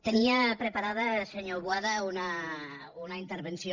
tenia preparada senyor boada una intervenció